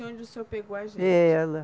Onde o senhor pegou a gente? É lá